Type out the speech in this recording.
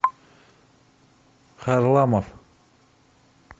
харламов